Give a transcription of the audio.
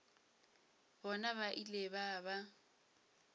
bona ba ile ba ba